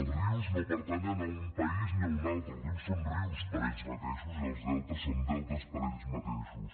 els rius no pertanyen a un país ni a un altre els rius són rius per ells mateixos i els deltes són deltes per ells mateixos